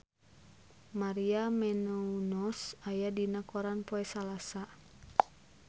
Maria Menounos aya dina koran poe Salasa